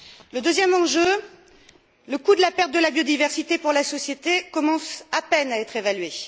Le deuxième enjeu le coût de la perte de biodiversité pour la société, commence à peine à être évalué.